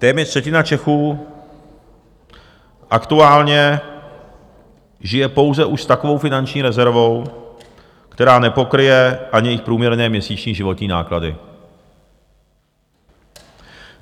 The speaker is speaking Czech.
Téměř třetina Čechů aktuálně žije pouze už s takovou finanční rezervou, která nepokryje ani jejich průměrné měsíční životní náklady.